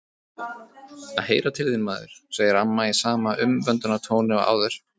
Að heyra til þín, maður, segir amma í sama umvöndunartóni og áður.